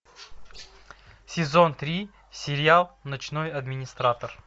сезон три сериал ночной администратор